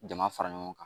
Jama fara ɲɔgɔn kan